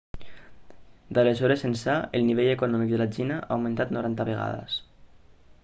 d'aleshores ençà el nivell econòmic de la xina ha augmentat 90 vegades